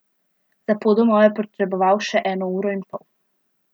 Za pot domov je potreboval še eno uro in pol.